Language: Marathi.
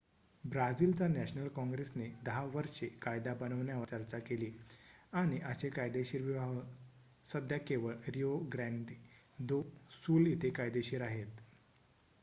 ब्राझिलच्या नॅशनल काँग्रेसने 10 वर्षे कायदा बनवण्यावर चर्चा केली आणि असे कायदेशीर विवाह सध्या केवळ रिओ ग्रँडे दो सुल इथे कायदेशीर आहेत